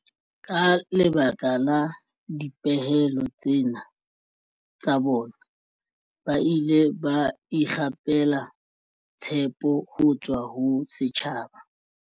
Ka lebaka la dipehelo tsena tsa bona, ba ile ba ikgapela tshepo ho tswa ho setjhaba.